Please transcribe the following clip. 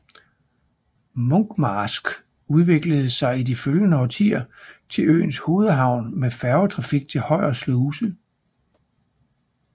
Munkmarsk udviklede sig i de følgende årtier til øens hovedhavn med færgetrafik til Højer Sluse